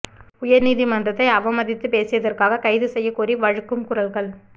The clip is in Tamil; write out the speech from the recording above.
உயர் நீதிமன்றத்தை அவமதித்து பேசியதிற்காக கைது செய்யக்கோரி வலுக்கும் குரல்கள்